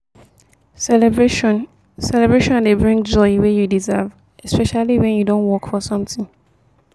celebration celebration dey bring joy wey you deserve especially when you don work for something